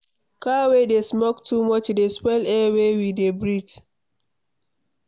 Car wey dey smoke too much dey spoil air wey we dey breathe.